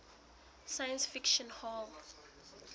science fiction hall